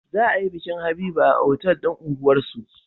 Za a yi bikin habiba a otal din unguwar su